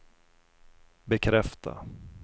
bekräfta